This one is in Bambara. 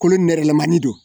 Kolo nɛrɛlamani don